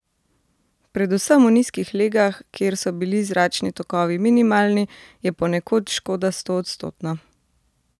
Predvsem v nizkih legah, kjer so bili zračni tokovi minimalni, je ponekod škoda stoodstotna.